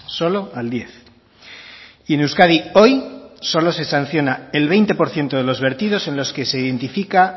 solo al diez y en euskadi hoy solo se sancionan el veinte por ciento de los vertidos en los que se identifica